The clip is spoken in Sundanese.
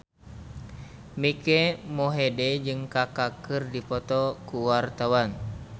Mike Mohede jeung Kaka keur dipoto ku wartawan